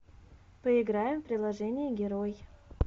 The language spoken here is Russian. поиграем в приложение герой